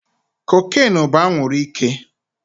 Cocaine bú anwuru ike